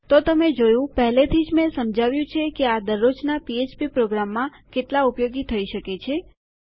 તો તમે જોયું પહેલેથી જ મેં સમજાવ્યું છે કે આ દરરોજના પીએચપી પ્રોગ્રામોમાં કેટલા ઉપયોગી થઇ શકે છે